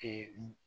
Ee